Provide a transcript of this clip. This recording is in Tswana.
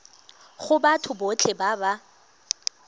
go batho botlhe ba ba